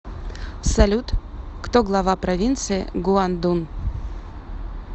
салют кто глава провинции гуандун